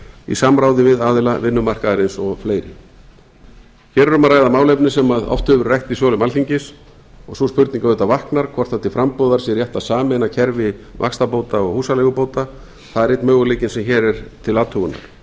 í samráði við aðila vinnumarkaðarins og fleiri hér er um að ræða málefni sem oft hefur verið rætt í sölum alþingis og sú spurning auðvitað vaknar hvort rétt sé til frambúðar sé rétt að sameina kerfi vaxtabóta og húsaleigubóta það er einn möguleikinn sem hér er til athugunar